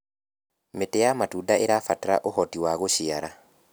mĩtĩ ya matunda irabatara ũhoti wa gũciara